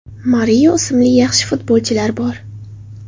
Mario ismli yaxshi futbolchilar bor.